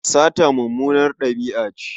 Sata mummunar ɗabi'a ce.